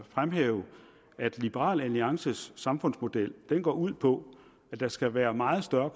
fremhæve at liberal alliances samfundsmodel går ud på at der skal være meget større